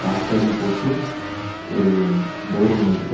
டாக்டர்னு போட்டு ஒரு டோர் ஒண்ணு இருக்கு. அத--